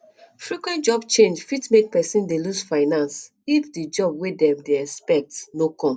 frequent job change fit make person dey loose finance if di job wey dem dey expect no come